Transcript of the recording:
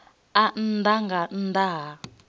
a nnḓa nga nnḓa ha